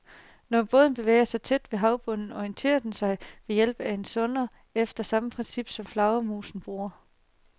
Når båden bevæger sig tæt ved havbunden, orienterer den sig ved hjælp af en sonar efter samme princip, som flagermusene bruger.